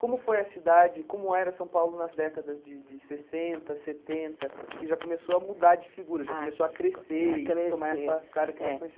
Como foi a cidade, como era São Paulo nas décadas de de sessenta, setenta, que já começou a mudar de figura, já começou a crescer e tomar essa cara que nós